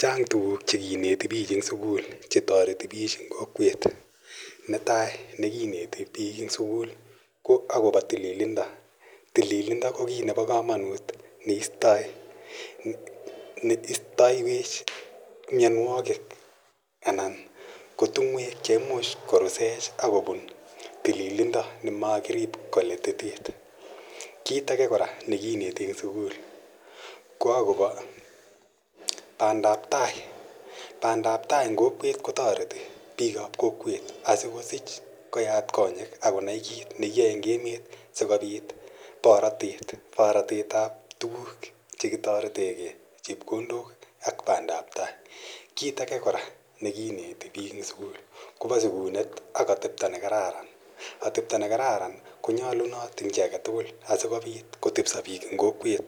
Chang' tuguuk che kineti piich eng' sukul che tareti piich eng'. Netai ne kineti piik eng' sukul ko akopa tililindo. Tililindp ko kiit nepo kamanut neistaiwech mianwogik ana ko tung'wek che imuch korusech akopun tililindo ne makirip kolititit. Kiit age kora ne kineti eng' sukul ko akopa pandaptai. Pandaptai eng' kokwet ko tareti piik ap kokwet asikosiich koyaat konyek ak konai kiit ne kiyae eng' emet si kopit paratet. Pratet ap tuguuk che kitarete gei, chepkondok ak pandaptai. Kiit age kora ne kineti eng' sukul kopa sikunet ak atepta ne kararan. Atepto ne kararan ko nyalunot eng' chi age tugul asikopit kotepiso piik eng' kokwet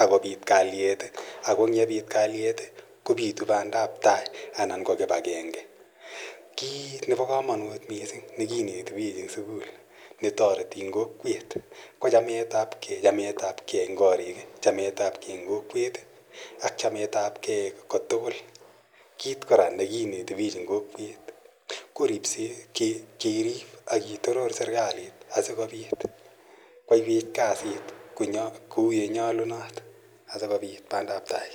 ak kopit kalyet. Ako ang' ye piit kalyet kopitu pandaptai anan ko kip agenge. Kiit nepa kamanut missing' ne kineti pich eng' sukul ne tareti piik eng' kokwet ko chametap gei, chametapgei eng' kariik i, chametap gei eng' kokwet ak chametapgei ko tugul. Kiit kora ne kineti piich eng' kokwet ko ripset, keriip ak kitoror serikalit si kopit koyaiwech kasit kou ole nyalunot asikopit pandaptai.